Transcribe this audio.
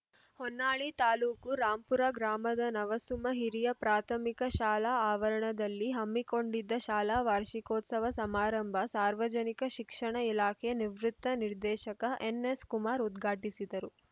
ಹೊನ್ನಾಳಿ ತಾಲುಕು ರಾಂಪುರ ಗ್ರಾಮದ ನವಸುಮ ಹಿರಿಯ ಪ್ರಾಥಮಿಕ ಶಾಲಾ ಆವರಣದಲ್ಲಿ ಹಮ್ಮಿಕೊಂಡಿದ್ದ ಶಾಲಾ ವಾರ್ಷಿಕೋತ್ಸವ ಸಮಾರಂಭ ಸಾರ್ವಜನಿಕ ಶಿಕ್ಷಣ ಇಲಾಖೆ ನಿವೃತ್ತ ನಿರ್ದೇಶಕ ಎನ್‌ಎಸ್‌ಕುಮಾರ್‌ ಉದ್ಘಾಟಿಸಿದರು